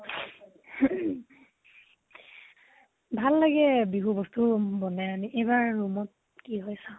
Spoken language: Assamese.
ভাল লাগে বিহু বস্তু উম বনাই আনি । ইবাৰ room ত কি হয় চাও